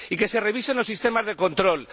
Y que se revisen los sistemas de control.